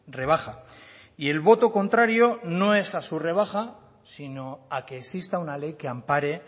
rebaja y el voto contrario no es a su rebaja sino a que exista una ley que ampare